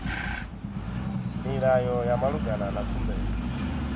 milayo ya malugana na khumbelo